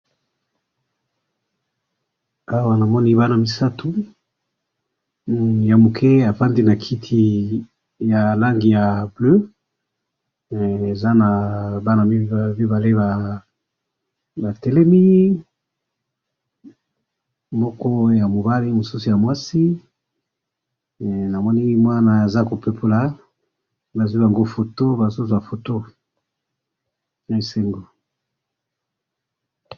awa namoni bana misatu ya muke avandi na kiti ya langi ya bleu, hee eza na bana mibale batelemi moko ya mobali mosusu ya mwasi namoni mwana aza ko pepula azwi yango foto bazwi foto esengo.